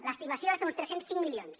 l’estimació és d’uns tres cents i cinc milions